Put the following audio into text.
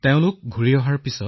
তেওঁ গৈছিল ইটালীলৈ